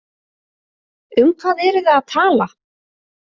Um hvað eruð þið að tala?